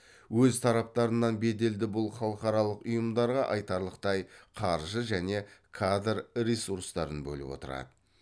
өз тараптарынан беделді бұл халықаралық ұйымдарға айтарлықтай қаржы және кадр ресурстарын бөліп отырады